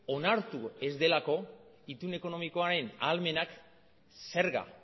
onartu ez delako itun ekonomikoaren ahalmenak zerga